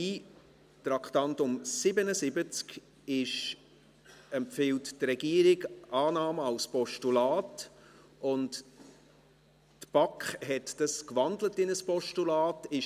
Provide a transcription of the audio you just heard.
Die Regierung empfiehlt beim Traktandum 77 die Annahme als Postulat, und die BaK hat dies in ein Postulat gewandelt.